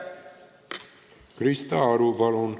Krista Aru, palun!